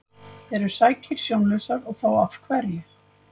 Eru sækýr sjónlausar og þá af hverju?